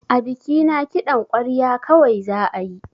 A bikina kiɗan ƙwarya kawai za ayi